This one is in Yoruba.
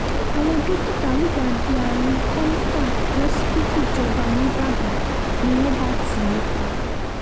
àwọn dókítà lùgbàdì àrùn kọ́ńtà lọ́sibítù ìjọba nígbàdàn ni wọ́n bá tì í pa